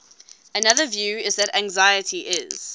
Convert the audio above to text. another view is that anxiety is